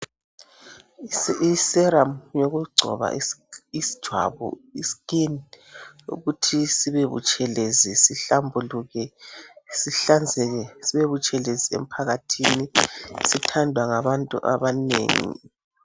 Iserum ngeyoku ngcoba ijwabu iskin ukuthi sibe butshelezi sihlambuluke sihlambuluke sibe butshelezi emphakathini zithandwa ngabantu abanengi